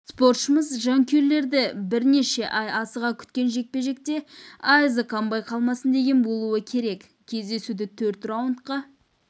спортшымыз жанкүйерлері бірнеше ай асыға күткен жекпе-жекте айызы қанбай қалмасын деген болуы керек кездесуді төрт раундқа